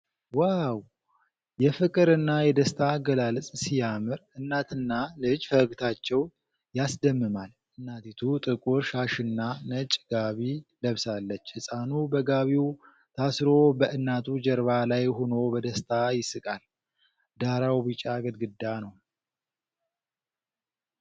ዋው! የፍቅርና የደስታ አገላለጽ ሲያምር! እናትና ልጅ ፈገግታቸው ያስደምማል። እናቲቱ ጥቁር ሻሽና ነጭ ጋቢ ለብሳለች። ህፃኑ በጋቢው ታስሮ በእናቱ ጀርባ ላይ ሆኖ በደስታ ይስቃል። ዳራው ቢጫ ግድግዳ ነው።